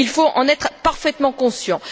Il faut en être parfaitement conscient.